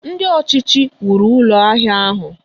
Ndị ọchịchị wuru Ụlọ ahịa ọhụụ